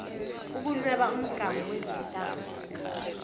ukunweba umgamu wezintambo